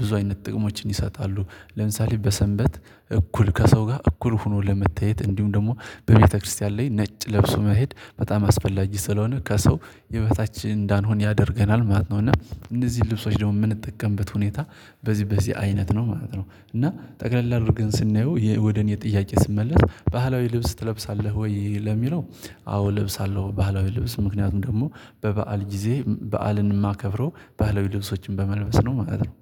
ብዙ አይነት ጥቅሞችን ይሰጣሉ። ለምሳሌ በሰንበት እኩል ከሰው ጋር እኩል ሆኖ ለመታየት እንዲሁም ደግሞ በቤተክርስቲያን ላይ ነጭ ለብሶ መሄድ በጣም አስፈላጊ ስለሆነ ከሰው የበታች እንዳንሆን ያደርገናል ማለት ነው። እና እነዚህን ልብሶች ደግሞ የምንጠቀምበት ሁኔታ በዚህ በዚህ አይነት ነው ማለት ነው። እና ጠቅለል አድርገን ስናየው ወደ እኔ ጥያቄ ስመለስ ባህላዊ ልብስ ትለብሳለህ ወይ ለሚለው? አዎ እለብሳለሁ። ባህላዊ ልብስ ምክንያቱም ደግሞ በበዓል ጊዜ በዓልን የማከብረው ባህላዊ ልብሶችን በመልበስ ነው ማለት ነው